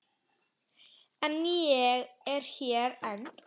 En ég er hér enn.